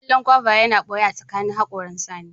kallo gyauba yana ɓoye tsakanin haƙoran Sani